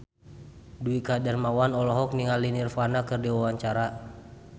Dwiki Darmawan olohok ningali Nirvana keur diwawancara